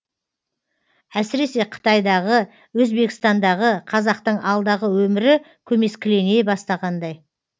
әсіресе қытайдағы өзбекстандағы қазақтың алдағы өмірі көмескілене бастағандай